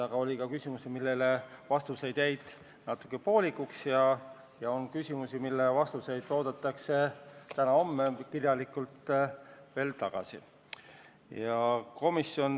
Samas oli küsimusi, millele antud vastused jäid natuke poolikuks, ja ka küsimusi, mille kirjalikud vastused peaksid saabuma täna-homme.